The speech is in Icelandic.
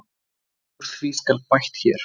Úr því skal bætt hér.